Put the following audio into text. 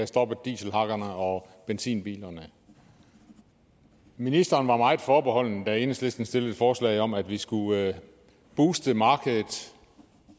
stoppet dieselhakkerne og benzinbilerne ministeren var meget forbeholden da enhedslisten stillede et forslag om at vi skulle booste markedet